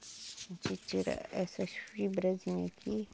A gente tira essas fibrazinha aqui.